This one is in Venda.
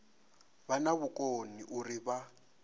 vha na vhukoni uri vha